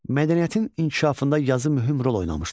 Mədəniyyətin inkişafında yazı mühüm rol oynamışdır.